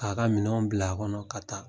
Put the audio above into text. K'a ka minanw bila a kɔnɔ ka taa.